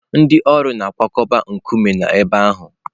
Ndị ọrụ na-akwakọba nkume n'ebe ahụ.